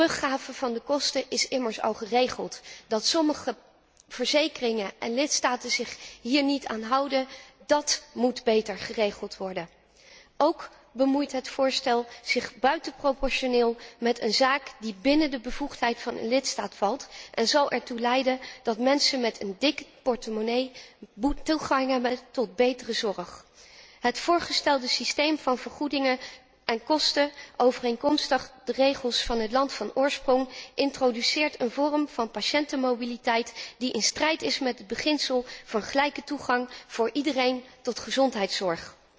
De teruggave van de kosten is immers al geregeld. Dat sommige verzekeringen en lidstaten zich niet hieraan houden moet beter geregeld worden. Ook bemoeit het voorstel zich onevenredig met een zaak die binnen de bevoegdheid van een lidstaat valt en zo ertoe leidt dat mensen met een dikke portemonnee toegang hebben tot betere zorg. Het voorgestelde systeem van vergoedingen en kosten overeenkomstig de regels van het land van oorsprong introduceert een vorm van patiëntenmobiliteit die in strijd is met het beginsel van gelijke toegang voor iedereen tot gezondheidszorg.